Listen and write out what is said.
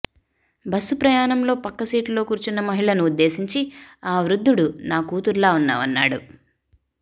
bus ప్రయాణంలో పక్కసీటులో కూర్చున్న మహిళను ఉద్దేశించి ఆ వృద్ధుడు నా కూతురులా ఉన్నావన్నాడు